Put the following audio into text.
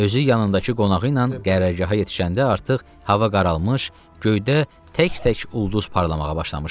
Özü yanındakı qonağı ilə qərargaha yetişəndə artıq hava qaralmış, göydə tək-tək ulduz parlamağa başlamışdı.